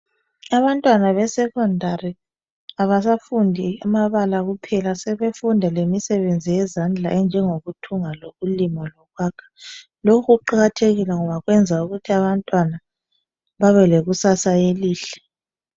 Abantwana beSekhondari abasafundi amabala kuphela, sebefunda lemisebenzi yezandla enjengokuthunga ,lokulima ,lokwakha. Lokhu kuqakathekile ngoba kwenza ukuthi abantwana babelekusasa elihle.